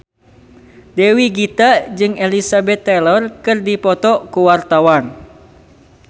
Dewi Gita jeung Elizabeth Taylor keur dipoto ku wartawan